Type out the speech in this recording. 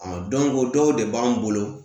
o dɔw de b'an bolo